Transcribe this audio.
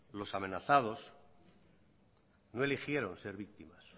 los amenazados no eligieron ser víctimas